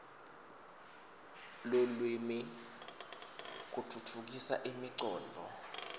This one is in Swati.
lulwimi kutfutfukisa imicondvo